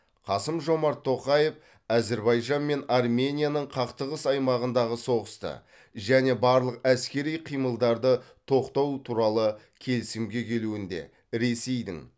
қасым жомарт тоқаев әзербайжан мен арменияның қақтығыс аймағындағы соғысты және барлық әскери қимылдарды тоқтау туралы келісімге келуінде ресейдің